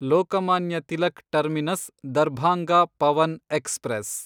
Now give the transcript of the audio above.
Lokmanya Tilak terminus Darbhanga Pawan express